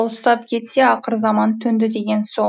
арқалық алыстап кетсе ақыр заман төнді деген сол